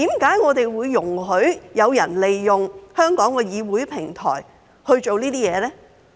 為何會容許有人利用香港議會平台做這些事呢？